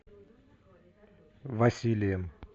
василием